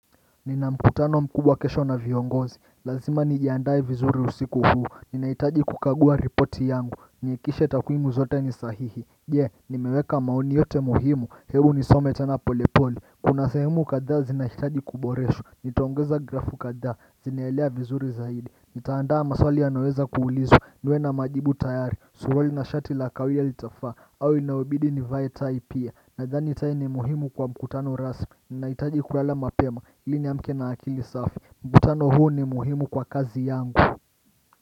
Nina mkutano mkubwa kesho na viongozi, lazima nijiandae vizuri usiku huu. Ninahitaji kukagua ripoti yangu, nihakikishe takwimu zote ni sahihi, pia nimeweka maoni yote muhimu heri nisome sana pole pole. Kuna sehemu kadhaa zinahitaji kuboreshwa nitaongeza grafu kadhaa. Zinaelea vizuri zaidi nitaandaa maswali yanayoweza kuulizwa, niwe na majibu tayari suruwali na shati la kawia litafaa au inayobidi nivae tai pia. Nadhani tai ni muhimu kwa mkutano rasmi. Nahitaji kulala mapema ili niamke na akili safi. Mkutano huu ni muhimu kwa kazi yangu.